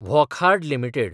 Wockhardt limited